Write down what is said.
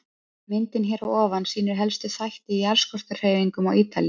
Myndin hér að ofan sýnir helstu þætti í jarðskorpuhreyfingum á Ítalíu.